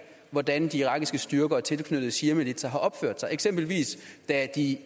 hvordan de irakiske styrker og tilknyttede shiamilitser har opført sig eksempelvis da de